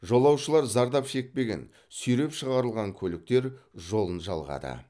жолаушылар зардап шекпеген сүйреп шығарылған көліктер жолын жалғады